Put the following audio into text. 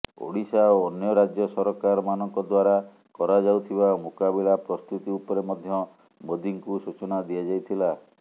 ଓଡ଼ିଶା ଓ ଅନ୍ୟ ରାଜ୍ୟ ସରକାରମାନଙ୍କ ଦ୍ବାରା କରାଯାଉଥିବା ମୁକାବିଲା ପ୍ରସ୍ତୁତି ଉପରେ ମଧ୍ୟ ମୋଦିଙ୍କୁ ସୂଚନା ଦିଆଯାଇଥିଲା